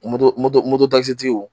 moto moto sigi